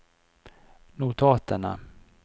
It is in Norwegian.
notatene